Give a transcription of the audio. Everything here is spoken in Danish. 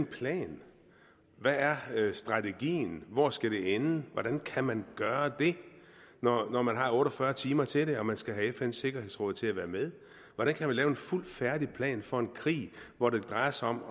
plan hvad er strategien og hvor skal det ende hvordan kan man gøre det når man har otte og fyrre timer til det og man skal have fns sikkerhedsråd til at være med hvordan kan man lave en fuldt færdig plan for en krig hvor det drejer sig om